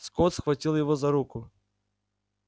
скотт схватил его за руку